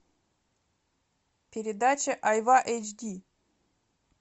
передача айва эйч ди